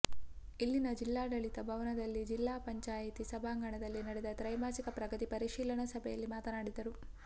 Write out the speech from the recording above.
ಇಲ್ಲಿನ ಜಿಲ್ಲಾಡಳಿತ ಭವನದಲ್ಲಿ ಜಿಲ್ಲಾ ಪಂಚಾಯಿತಿ ಸಭಾಂಗಣದಲ್ಲಿ ನಡೆದ ತ್ರೈಮಾಸಿಕ ಪ್ರಗತಿ ಪರಿಶೀಲನಾ ಸಭೆಯಲ್ಲಿ ಮಾತನಾಡಿದರು